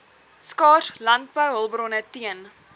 skaars landbouhulpbronne teen